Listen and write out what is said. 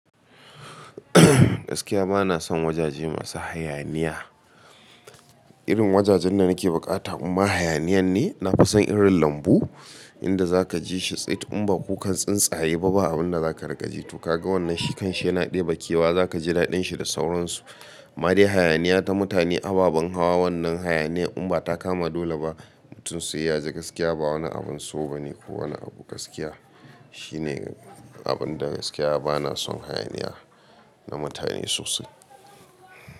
Gaskiya bana son wajaje masu hayaniya. Irin wajajen da nake bukata in ba hayaniyan ne, na fi son irin lambu inda za ka ji shi tsit in ba kukan tsuntsaye ba, ba abun da za ka ragaji. To ka ga wannan shi kan shi yana ɗebe kewa, za ka ji daɗin shi da sauransu. Ma dai hayaniya ta mutane, ababen hawa wannan hayaniya in ba ta kama dole ba mutum sai ya je. Gaskiya ba wani abun so ba ne. Ko wani abu gaskiya shine abun da gaskiya bana son hayaniya na mutane sosai.